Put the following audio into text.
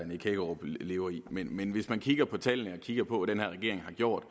nick hækkerup lever i men hvis man kigger på tallene og kigger på hvad den her regering har gjort